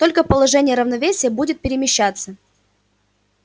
только положение равновесия будет перемещаться